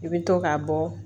I bɛ to k'a bɔ